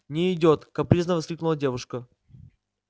не идёт капризно воскликнула девушка